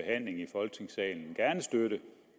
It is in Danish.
folketingssalen gerne støtte